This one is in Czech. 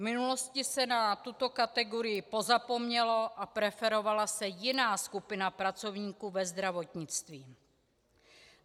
V minulosti se na tuto kategorii pozapomnělo a preferovala se jiná skupina pracovníků ve zdravotnictví.